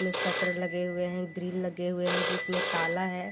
इसमें शटर लगे हुए हैं ग्रिल लगे हुए हैं जिसमें ताला है।